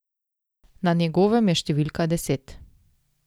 Na njegovem je številka deset.